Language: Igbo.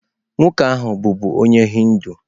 Nwoke ahụ bụbu onye Hindu.